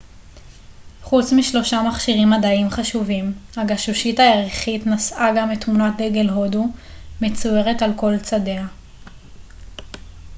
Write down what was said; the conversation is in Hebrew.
חוץ משלושה מכשירים מדעיים חשובים הגשושית הירחית נשאה גם את תמונת דגל הודו מצוירת על כל צדיה